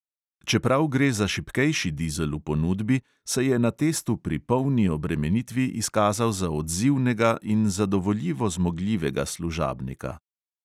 Čeprav gre za šibkejši dizel v ponudbi, se je na testu pri polni obremenitvi izkazal za odzivnega in zadovoljivo zmogljivega služabnika.